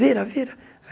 Vira, vira.